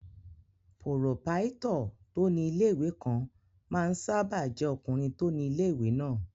Pòròpáítọ̀ tó ní ilé-ìwé kan máa ń sáábà jẹ́ ọkùnrin tó ni ilé-ìwé náà